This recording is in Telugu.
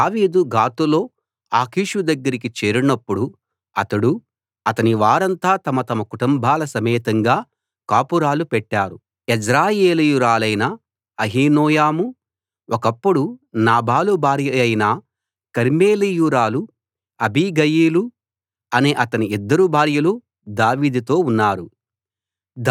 దావీదు గాతులో ఆకీషు దగ్గరికి చేరినప్పుడు అతడూ అతని వారంతా తమ తమ కుటుంబాల సమేతంగా కాపురాలు పెట్టారు యెజ్రెయేలీయురాలైన అహీనోయము ఒకప్పుడు నాబాలు భార్యయైన కర్మెలీయురాలు అబీగయీలు అనే అతని ఇద్దరు భార్యలు దావీదుతో ఉన్నారు